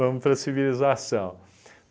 Vamos para a civilização.